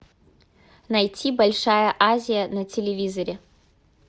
найти большая азия на телевизоре